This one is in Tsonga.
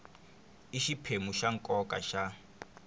i xiphemu xa nkoka xa